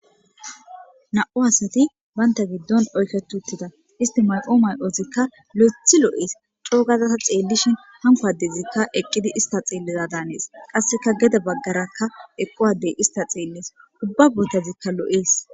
na7u asati baynta giddon oyketuttida isti maqo may7ozikka lo7ethi lo7ees coogazasa xeellishin hankowadezikka eqqidi ista xielliza daanees qasseka gede baggarakka eqquwadey ista xeellees ubba botazikka lo7ees